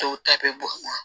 Dɔw ta bɛ bɔ